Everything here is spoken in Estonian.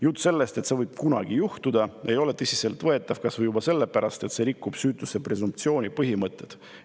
Jutt sellest, et see võib kunagi juhtuda, ei ole tõsiselt võetav, kas või juba sellepärast, et see rikub süütuse presumptsiooni põhimõtet.